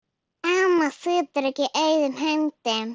Amma situr ekki auðum höndum.